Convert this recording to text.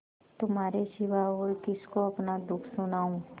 तुम्हारे सिवा और किसको अपना दुःख सुनाऊँ